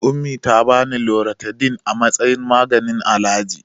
Ummi ta bani Loratidin a matsayin maganin alaji.